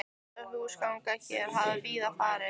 Þessi húsgangur hér hafði víða farið